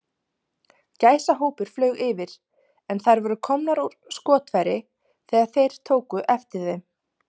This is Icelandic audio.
Gæsahópur flaug yfir, en þær voru komnar úr skotfæri, þegar þeir tóku eftir þeim.